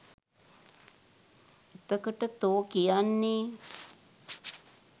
එතකොට තෝ කියන්නේ